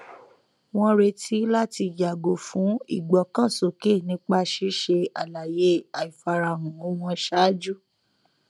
wọn retí láti yàgò fún ìgbọkànsókè nípa ṣíṣe àlàyé àìfarahàn wọn ṣáájú